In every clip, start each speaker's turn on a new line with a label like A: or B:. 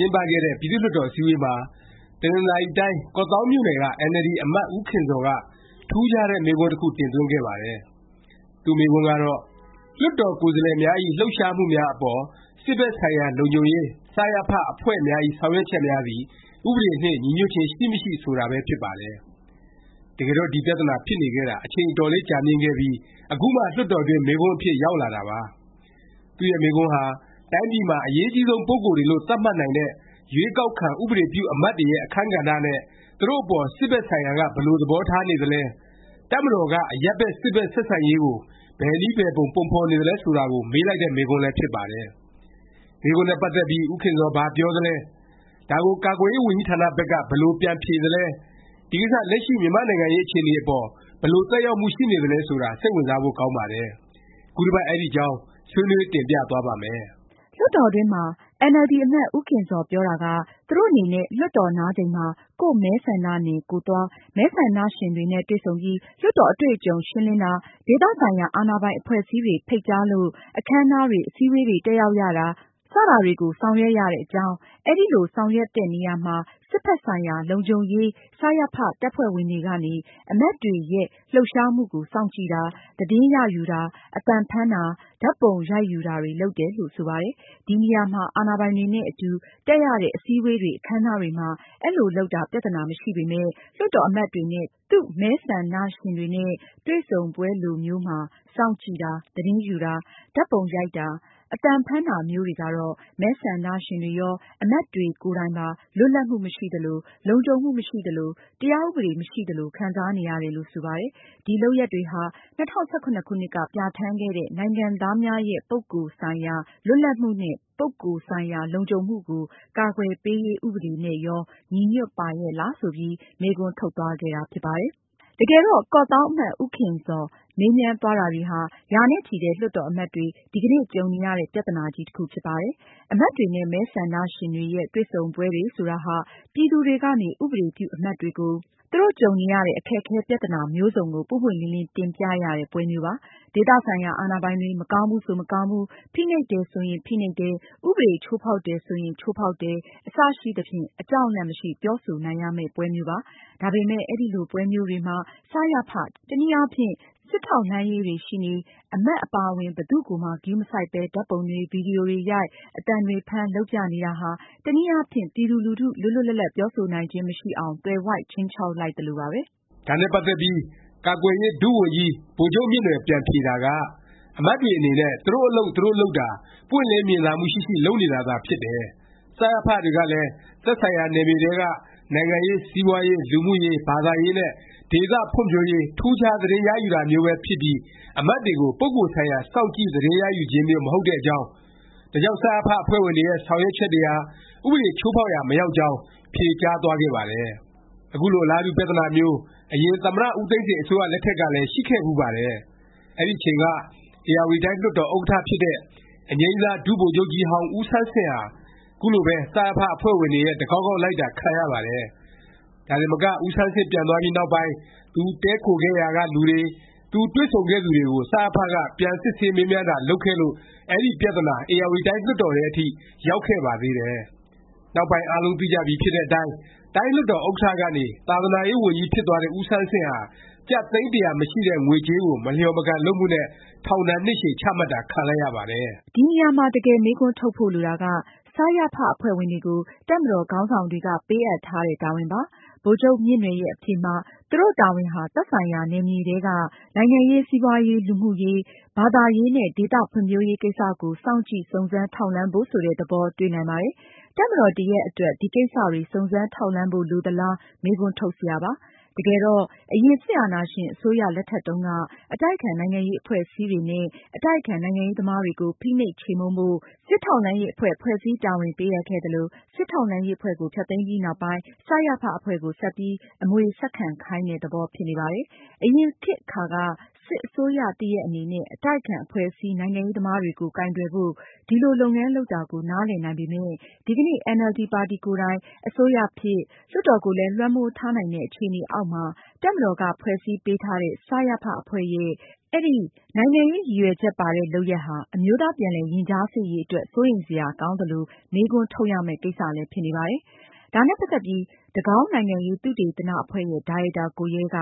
A: ျင်းပခဲ့တဲ့ ပြည်သူ့လွှတ်တော် အစည်းအဝေးမှာ တနင်္သာရီတိုင်း ကော့သောင်းမြို့နယ်က အင်န်အယ်လ်ဒီ အမတ် ဦးခင်ဇော်က ထူးခြားတဲ့ မေးခွန်းတစ်ခု တင်သွင်းခဲ့ပါတယ်။ သူ့မေးခွန်းကတော့ “လွှတ်တော် ကိုယ်စားလှယ်များဇ။် လှုပ်ရှားမှုများ အပေါ် စစ်ဘက်ဆိုင်ရာ လုံခြုံရေး “စရဖ” အဖွဲ့များဇ။် ဆောင်ရွက်ချက်များသည် ဥပဒေနှင့် ညီညွတ်ခြင်း ရှိမရှိ” ဆိုတာပဲ ဖြစ်ပါတယ်။ တကယ်တော့ ဒီ ပြသနာ ဖြစ်နေခဲ့တာ အချိန် အတော်လေး ကြာမြင့်ခဲ့ပြီး အခုမှ လွှတ်တော်အတွင်း မေးခွန်းအဖြစ် ရောက်လာတာပါ။ သူ့ရဲ့ မေးခွန်းဟာ တိုင်းပြည်မှာ အရေးအကြီးဆုံး ပုဂ္ဂိုလ်တွေလို့ သတ်မှတ်နိုင်တဲ့ ရွေးကောက်ခံ ဥပဒေပြု အမတ်တွေရဲ့ အခန်းကဏ္ဍနဲ့ သူတို့ အပေါ် စစ်ဘက်ဆိုင်ရာက ဘယ်လို သဘောထားနေသလဲ၊ တပ်မတော်က အရပ်ဘက် စစ်ဘက် ဆက်ဆံရေးကို ဘယ်နည်း ဘယ်ပုံ ပုံဖော်နေသလဲ ဆိုတာကို မေးလိုက်တဲ့ မေးခွန်းလည်း ဖြစ်ပါတယ်။ မေးခွန်းနဲ့ ပတ်သက်ပြီး ဦးခင်ဇော် ဘာပြောသလဲ၊ ဒါကို ကာကွယ်ရေး ဝန်ကြီးဌာန ဘက်က ဘယ်လို ပြန်ဖြေသလဲ၊ ဒီကိစ္စ လက်ရှိ မြန်မာ့နိုင်ငံရေး အခြေအနေအပေါ် ဘယ်လို သက်ရောက်မှု ရှိနေသလဲ ဆိုတာ စိတ်ဝင်စားဖို့ ကောင်းပါတယ်။ ခုတစ်ပတ် အဲဒီအကြောင်း ဆွေးနွေး တင်ပြသွားပါ့မယ်။
B: လွှတ်တော်တွင်းမှာ အင်န်အယ်လ်ဒီ အမတ် ဦးခင်ဇော် ပြောတာက သူတို့ အနေနဲ့ လွှတ်တော် နားချိန်မှာ ကိုယ့်မဲဆန္ဒနယ် ကိုယ်သွား၊ မဲဆန္ဒရှင်တွေနဲ့ တွေ့ဆုံပြီး လွှတ်တော် အတွေ့အကြုံ ရှင်းလင်းတာ၊ ဒေသဆိုင်ရာ အာဏာပိုင် အဖွဲ့အစည်းတွေ ဖိတ်ကြားလို့ အခန်းအနားတွေ၊ အစည်းအဝေးတွေ တက်ရောက်ရတာ စတာတွေကို ဆောင်ရွက်ရတဲ့အကြောင်း၊ အဲဒီလို ဆောင်ရွက်တဲ့နေရာမှာ စစ်ဘက်ဆိုင်ရာ လုံခြုံရေး စရဖ တပ်ဖွဲ့ဝင်တွေကနေ အမတ်တွေရဲ့ လှုပ်ရှားမှုကို စောင့်ကြည့်တာ၊ သတင်းရယူတာ၊ အသံဖမ်းတာ၊ ဓာတ်ပုံရိုက်ယူတာတွေ လုပ်တယ်လို့ ဆိုပါတယ်။ ဒီနေရာမှာ အာဏာပိုင်တွေနဲ့ အတူ တက်ရတဲ့ အစည်းအဝေးတွေ အခန်းအနားတွေမှာ အဲလို လုပ်တာ ပြသနာ မရှိပေမယ့် လွှတ်တော် အမတ်တွေနဲ့ သူ့မဲဆန္ဒရှင်တွေ တွေ့ဆုံပွဲလိုမျိုးမှာ စောင့်ကြည့်တာ၊ သတင်းယူတာ၊ ဓာတ်ပုံရိုက်တာ၊ အသံဖမ်းတာ မျိုးတွေကတော့ မဲဆန္ဒရှင်တွေရော၊ အမတ်တွေ ကိုယ်တိုင်ပါ လွတ်လပ်မှု မရှိသလို၊ လုံခြုံမှု မရှိသလို၊ တရားဥပဒေ မရှိသလို ခံစားနေရတယ်လို့ ဆိုပါတယ်။ ဒီ လုပ်ရပ်တွေဟာ ၂၀၁၇ ခုနှစ်က ပြဌာန်းခဲ့တဲ့ “နိုင်ငံသားများဇ။် ပုဂ္ဂိုလ်ဆိုင်ရာ လွတ်လပ်မှုနှင့် ပုဂ္ဂိုလ်ဆိုင်ရာ လုံခြုံမှုကို ကာကွယ်ပေးရေး ဥပဒေ” နဲ့ရော ညီညွတ်ပါရဲ့လား ဆိုပြီး မေးခွန်းထုတ်သွားခဲ့တာ ဖြစ်ပါတယ်။ တကယ်တော့ ကော့သောင်း အမတ် ဦးခင်ဇော် မေးမြန်းသွားတာတွေဟာ ရာနဲ့ချီတဲ့ လွှတ်တော် အမတ်တွေ ဒီကနေ့ ကြုံနေရတဲ့ ပြသနာကြီး တစ်ခုဖြစ်ပါတယ်။ အမတ်တွေနဲ့ မဲဆန္ဒရှင်တွေရဲ့ တွေ့ဆုံပွဲတွေ ဆိုတာဟာ ပြည်သူတွေကနေ ဥပဒေပြု အမတ်တွေကို သူတို့ကြုံနေရတဲ့ အခက်အခဲ ပြသနာ မျိုးစုံကို ပွင့်ပွင့်လင်းလင်း တင်ပြရတဲ့ ပွဲမျိုးပါ။ ဒေသဆိုင်ရာ အာဏာပိုင်တွေ မကောင်းဘူးဆို မကောင်းဘူး၊ ဖိနှိပ်တယ် ဆိုရင် ဖိနှိပ်တယ်၊ ဥပဒေ ချိုးဖေါက်တယ် ဆိုရင် ချိုးဖေါက်တယ် အစရှိသဖြင့် အကြောက်အလန့် မရှိ ပြောဆိုနိုင်ရမယ့် ပွဲမျိုးပါ။ ဒါပေမယ့် အဲလိုပွဲမျိုးတွေမှာ စရဖ၊ တနည်းအားဖြင့် စစ်ထောက်လှမ်းရေး တွေ ရှိနေ၊ အမတ် အပါအဝင် ဘယ်သူ့ကိုမှ ဂရုမစိုက်ပဲ ဓာတ်ပုံတွေ၊ ဗီဒီယိုတွေရိုက်၊ အသံတွေဖမ်း လုပ်ပြနေတာဟာ တနည်းအားဖြင့် ပြည်သူလူထု လွတ်လွတ်လပ်လပ် ပြောဆိုနိုင်ခြင်း မရှိအောင် သွယ်ဝိုက် ခြိမ်းခြောက်လိုက်သလိုပါပဲ
A: ။ ဒါနဲ့ ပတ်သက်ပြီး ကာကွယ်ရေး ဒုဝန်ကြီး ဗိုလ်ချုပ်မြင့်နွယ် ပြန်ဖြေတာက အမတ်တွေ အနေနဲ့ သူတို့အလုပ် သူတို့ လုပ်တာ ပွင့်လင်းမြင်သာမှု ရှိရှိ လုပ်နေတာသာ ဖြစ်တယ်၊ စရဖ တွေကလည်း သက်ဆိုင်ရာ နယ်မြေထဲက နိုင်ငံရေး၊ စီးပွားရေး၊ လူမှုရေး၊ ဘာသာရေးနဲ့ ဒေသဖွံ့ဖြိုးရေး ထူးခြား သတင်း ရယူတာမျိုးပဲဖြစ်ပြီး အမတ်တွေကို ပုဂ္ဂိုလ်ဆိုင်ရာ စောင့်ကြည့်သတင်းရယူခြင်းမျိုး မဟုတ်တဲ့အကြောင်း၊ ဒါကြောင့် စရဖ အဖွဲ့ဝင်တွေရဲ့ ဆောင်ရွက်ချက်တွေဟာ ဥပဒေချိုးဖေါက်ရာ မရောက်ကြောင်း ဖြေကြားသွားခဲ့ပါတယ်။ အခုလို အလားတူ ပြသနာမျိုး အရင် သမ္မတ ဦးသိန်းစိန် အစိုးရ လက်ထက်ကလည်း ရှိခဲ့ဖူးပါတယ်။ အဲဒီအချိန်က ဧရာဝတီတိုင်း လွှတ်တော် ဥက္ကဌ ဖြစ်တဲ့ အငြိမ်းစား ဒုဗိုလ်ချုပ်ကြီးဟောင်း ဦးဆန်းဆင့်ဟာ ခုလိုပဲ စရဖ အဖွဲ့ဝင်တွေရဲ့ တကောက်ကောက်လိုက်တာ ခံရပါတယ်။ ဒါတင်မက ဦးဆန်းဆင့် ပြန်သွားပြီးနောက်ပိုင်း သူတည်းခိုခဲ့ရာက လူတွေ၊ သူတွေ့ဆုံခဲ့သူတွေကို စရဖ က ပြန်စစ်ဆေးမေးမြန်းတာ လုပ်ခဲ့လို့ အဲဒီ ပြသနာ ဧရာဝတီတိုင်း လွှတ်တော်ထဲအထိ ရောက်ခဲ့ပါသေးတယ်။ နောက်ပိုင်း အားလုံးသိကြပြီဖြစ်တဲ့အတိုင်း တိုင်းလွှတ်တော် ဥက္ကဌ ကနေ သာသနာရေး ဝန်ကြီး ဖြစ်သွားတဲ့ ဦးဆန်းဆင့်ဟာ ကျပ် သိန်း ၁၀၀ မရှိတဲ့ ငွေကြေးကို မလျော်မကန် လုပ်မှုနဲ့ ထောင်ဒါဏ် နှစ်ရှည် ချမှတ်တာ ခံလိုက်ရပါတယ်။
B: ဒီနေရာမှာ တကယ်မေးခွန်းထုတ်ဖို့ လိုတာက စရဖ အဖွဲ့ဝင်တွေကို တပ်မတော်ခေါင်းဆောင်တွေက ပေးအပ်ထားတဲ့ တာဝန်ပါ။ ဗိုလ်ချုပ်မြင့်နွယ်ရဲ့ အဖြေမှာ သူတို့ တာဝန်ဟာ သက်ဆိုင်ရာ နယ်မြေထဲက နိုင်ငံရေး၊ စီးပွားရေး၊ လူမှုရေး၊ ဘာသာရေးနဲ့ ဒေသဖွံ့ဖြိုးရေး ကိစ္စကို စောင့်ကြည့် စုံစမ်းထောက်လှမ်း ဖို့ ဆိုတဲ့ သဘော တွေ့နိုင်ပါတယ်။ တပ်မတော်တစ်ရပ် အတွက် ဒီကိစ္စတွေ စုံစမ်းထောက်လှမ်းဖို့ လိုသလား မေးခွန်း ထုတ်စရာပါ။ တကယ်တော့ အရင် စစ်အာဏာရှင် အစိုးရလက်ထက်တုန်းက အတိုက်အခံ နိုင်ငံရေးအဖွဲ့အစည်းတွေနဲ့ အတိုက်အခံ နိုင်ငံရေးသမားတွေကို ဖိနှိပ် ချေမှုန်းဖို့ စစ်ထောက်လှမ်းရေး အဖွဲ့၊ ဖွဲ့စည်း တာဝန်ပေးအပ်ခဲ့သလို၊ စစ်ထောက်လှမ်းရေး အဖွဲ့ကို ဖျက်သိမ်းပြီး နောက်ပိုင်း စရဖ အဖွဲ့ကို ဆက်ပြီး အမွေဆက်ခံခိုင်းတဲ့ သဘော ဖြစ်နေပါတယ်။ အရင် ခေတ်အခါက စစ်အစိုးရ တစ်ရပ် အနေနဲ့ အတိုက်အခံ အဖွဲ့အစည်း၊ နိုင်ငံရေးသမားတွေကို ကိုင်တွယ်ဖို့ ဒီလို လုပ်ငန်းလုပ်တာကို နားလည်နိုင်ပေမယ့် ဒီကနေ့ အင်န်အယ်လ်ဒီ ပါတီကိုယ်တိုင် အစိုးရဖြစ်၊ လွှတ်တော်ကိုလည်း လွှမ်းမိုးထားနိုင်တဲ့ အခြေအနေအောက်မှာ တပ်မတော်က ဖွဲ့စည်းပေးထားတဲ့ စရဖ အဖွဲ့ရဲ့ အဲဒီ နိုင်ငံရေး ရည်ရွယ်ချက် ပါတဲ့ လုပ်ရပ်ဟာ အမျိုးသား ပြန်လည် ရင်ကြားစေ့ရေးအတွက် စိုးရိမ်စရာကောင်းသလို မေးခွန်းထုတ်ရမယ့် ကိစ္စလည်း ဖြစ်နေပါတယ်။ ဒါနဲ့ ပတ်သက်ပြီး တကောင်း နိုင်ငံရေး သုတေသန အဖွဲ့ရဲ့ ဒါရိုက်တာ ကိုရဲက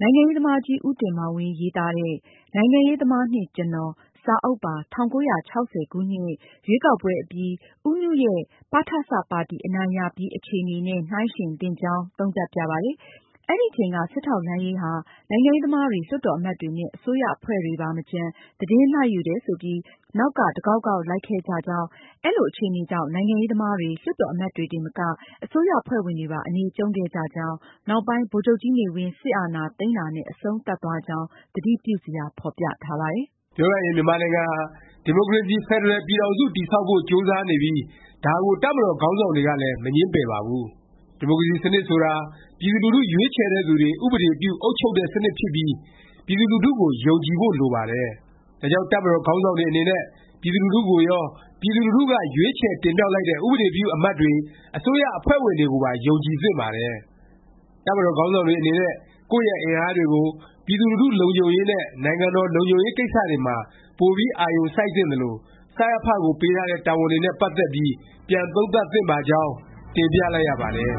B: နိုင်ငံရေးသမားကြီး ဦးတင်မောင်ဝင်း ရေးသားတဲ့ “ နိုင်ငံရေးသမားနှင့် ကျနော်” စာအုပ်ပါ ၁၉၆၀ ရွေးကောက်ပွဲအပြီး ဦးနုရဲ့ ပထစ ပါတီ အနိုင်ရပြီး အခြေအနေနဲ့ နှိုင်းယှဉ်သင့်ကြောင်း သုံးသပ်ပြပါတယ်။ အဲဒီအချိန်က စစ်ထောက်လှမ်းရေးဟာ နိုင်ငံရေးသမားတွေ၊ လွှတ်တော် အမတ်တွေနဲ့ အစိုးရအဖွဲ့ဝင်တွေပါ မကျန် သတင်းလိုက်ယူတယ် ဆိုပြီး နောက်က တကောက်ကောက် လိုက်ခဲ့ကြကြောင်း၊ အဲလို အခြေအနေကြောင့် နိုင်ငံရေးသမားတွေ၊ လွှတ်တော် အမတ်တွေတင်မက အစိုးရအဖွဲ့ဝင်တွေပါ အနေကျုံ့ခဲ့ကြကြောင်း၊ နောက်ပိုင်း ဗိုလ်ချုပ်ကြီးနေဝင်း စစ်အာဏာသိမ်းတာနဲ့ အဆုံးသတ်သွားကြောင်း သတိပြုစရာ ဖော်ပြထားပါတယ်
A: ။ ပြောရရင် မြန်မာနိုင်ငံဟာ ဒီမိုကရေစီ ဖက်ဒရယ် ပြည်ထောင်စု တည်ဆောက်ဖို့ ကြိုးစားနေပြီး ဒါကို တပ်မတော် ခေါင်းဆောင်တွေကလည်း မငြင်းပယ်ပါဘူး။ ဒီမိုကရေစီ စနစ်ဆိုတာ ပြည်သူလူထု ရွေးချယ်တဲ့သူတွေ ဥပဒေပြု၊ အုပ်ချုပ်တဲ့ စနစ်ဖြစ်ပြီး ပြည်သူလူထုကို ယုံကြည်ဖို့ လိုပါတယ်။ ဒါကြောင့် တပ်မတော် ခေါင်းဆောင်တွေ အနေနဲ့ ပြည်သူလူထုကိုရော၊ ပြည်သူလူထုက ရွေးချယ်တင်မြှောက်လိုက်တဲ့ ဥပဒေပြု အမတ်တွေ၊ အစိုးရအဖွဲ့ဝင်တွေကိုပါ ယုံကြည်သင့်ပါတယ်။ တပ်မတော် ခေါင်းဆောင်တွေ အနေနဲ့ ကိုယ့်ရဲ့အင်အားတွေကို ပြည်သူလူထု လုံခြုံရေးနဲ့ နိုင်ငံတော် လုံခြုံရေး ကိစ္စတွေမှာ ပိုပြီး အာရုံစိုက်သင့်သလို၊ စရဖ ကိုပေးထားတဲ့ တာဝန်တွေနဲ့ ပတ်သက်ပြီး ပြန်သုံးသပ် သင့်ပါကြောင်း တင်ပြလိုက်ရပါတယ်။